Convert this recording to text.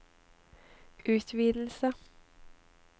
utvidelse